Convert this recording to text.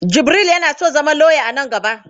Jibril yana son zama lauya a nan gaba.